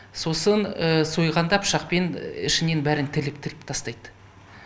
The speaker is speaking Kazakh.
сосын сойғанда пышақпен ішінен бәрін тіліп тіліп тастайды